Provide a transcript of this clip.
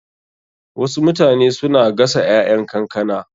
Wasu mutane suna gasa ƴaƴan kankana.